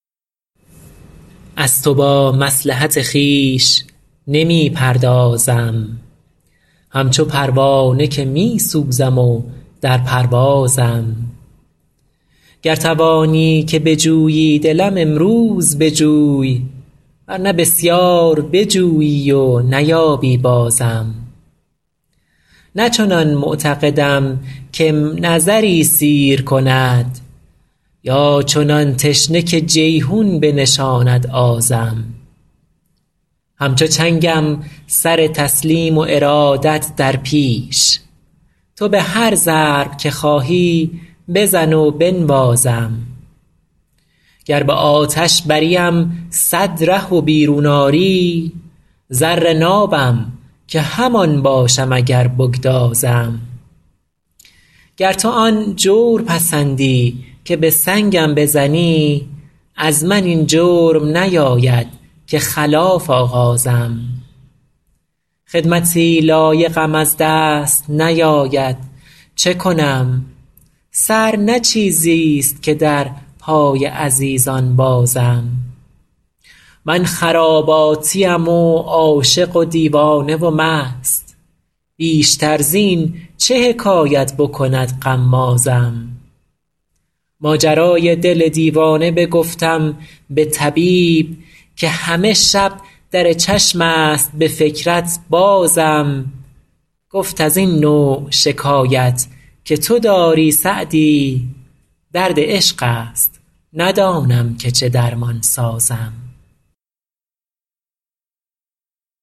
از تو با مصلحت خویش نمی پردازم همچو پروانه که می سوزم و در پروازم گر توانی که بجویی دلم امروز بجوی ور نه بسیار بجویی و نیابی بازم نه چنان معتقدم که م نظری سیر کند یا چنان تشنه که جیحون بنشاند آزم همچو چنگم سر تسلیم و ارادت در پیش تو به هر ضرب که خواهی بزن و بنوازم گر به آتش بریم صد ره و بیرون آری زر نابم که همان باشم اگر بگدازم گر تو آن جور پسندی که به سنگم بزنی از من این جرم نیاید که خلاف آغازم خدمتی لایقم از دست نیاید چه کنم سر نه چیزیست که در پای عزیزان بازم من خراباتیم و عاشق و دیوانه و مست بیشتر زین چه حکایت بکند غمازم ماجرای دل دیوانه بگفتم به طبیب که همه شب در چشم است به فکرت بازم گفت از این نوع شکایت که تو داری سعدی درد عشق است ندانم که چه درمان سازم